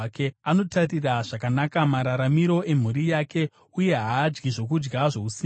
Anotarira zvakanaka mararamiro emhuri yake, uye haadyi zvokudya zvousimbe.